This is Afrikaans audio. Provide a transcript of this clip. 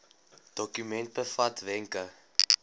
dokument bevat wenke